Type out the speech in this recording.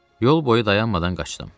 Yol boyu dayanmadan qaçdım.